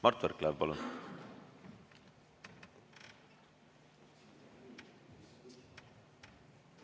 Mart Võrklaev, palun!